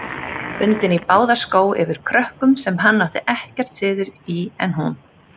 Bundin í báða skó yfir krökkum, sem hann átti ekkert síður en hún.